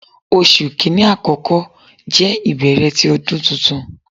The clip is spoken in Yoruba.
Oṣu Kini akọkọ jẹ ibẹrẹ ti Ọdun Tuntun